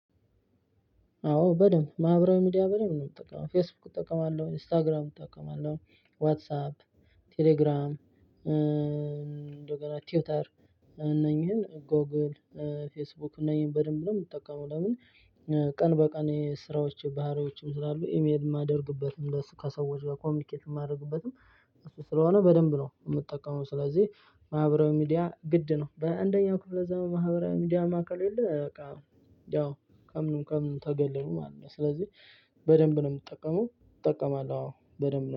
አዎ በደንብ ማህበራዊ ሚዲያ በደምብ ነው ምጠቀመው ፌስቡክ እጠቀማለሁ ኢንስታግራም እጠቀማለሁ ዋትሳፕ ቴሌግራም እንደገና ቲውተር እነኚህን ጎግል ፌስቡክ እነዚህን በደንብ ነው የምጠቀመው። ለምን? ቀን በቀን የስራዎች ባህሪዎችም ስላሉ ኢሜል የማደርግበትም ከሰዎች ጋር ኮሚኒኬት የማደርግበትም እሱ ስለሆነ በደንብ ነው የምጠቀመው። ስለዚህ ማህበራዊ ሚዲያ ግድ ነው በሃያ አንደኛው ክፍለ ዘመን ማህበራዊ ሚዲያማ ከሌለ በቃ ያው ከምንም ከምንም ተገለሉ ማለት ነው። ስለዚህ በደንብ ነው የምጠቀመው። እጠቀማለሁ አዎ በደንብ ነው